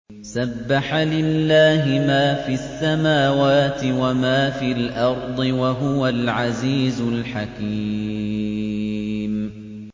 سَبَّحَ لِلَّهِ مَا فِي السَّمَاوَاتِ وَمَا فِي الْأَرْضِ ۖ وَهُوَ الْعَزِيزُ الْحَكِيمُ